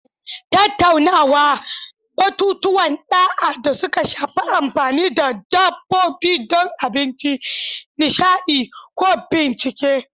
Tattauna batutuwan ɗa'a da suka shafi amfani da dabbobi don abinci, nishaɗi, ko bincike.